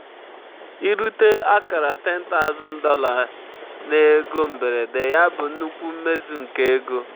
irute akara $10000 na ego mberede ya bụ nnukwu mmezu nke ego.